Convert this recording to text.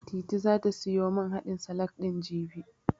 Titi zata siyo man haɗin salak ɗin, jibi.